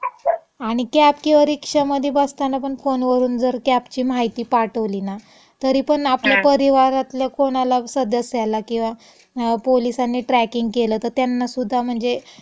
आणि कॅब किंवा रिक्षामधी बसतानापण फोनवरुन जर कॅबची माहिती पाठवली ना तरीपण आपल्या परिवारातल्या कोणाला, सदस्याला किंवा पोलिसांनी ट्रॅकिंग केलं तं त्यांनासुद्धा म्हणजे, हम्म.